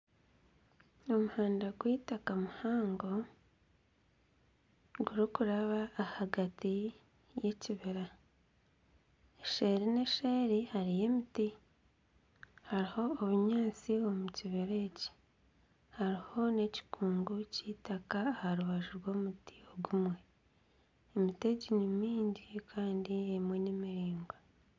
Omuhanda gw'eitaka muhango, gurikuraba ahagati y'ekibira, seeri n'eseeri hariyo emiti hariho obunyaatsi omu kibira eki hariho n'ekikungu k'eitaka aha rubaju rw'omuti gumwe, emiti egi ni mingi kandi emwe nimiraingwa